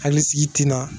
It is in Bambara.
Hakili sigi tina